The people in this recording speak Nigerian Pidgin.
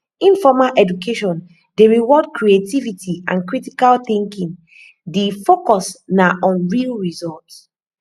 informal education dey reward creativity and critical thinking di focus na on real result